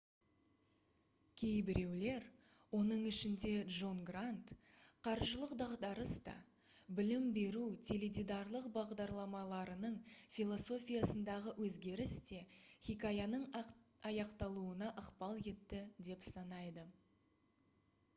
кейбіреулер оның ішінде джон грант қаржылық дағдарыс та білім беру теледидарлық бағдарламаларының философиясындағы өзгеріс те хикаяның аяқталуына ықпал етті деп санайды